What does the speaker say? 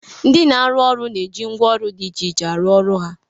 Ndị na-arụ ụlọ na-eji ngwaọrụ dị iche iche arụ ọrụ ha